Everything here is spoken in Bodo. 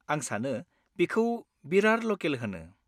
आं सानो बेखौ बिरार ल'केल होनो।